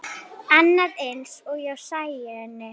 Annað eins hjá Sæunni.